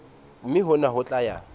mme hona ho tla ya